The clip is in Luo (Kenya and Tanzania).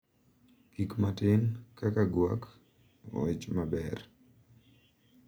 Gik matin, kaka gwak, wach maber,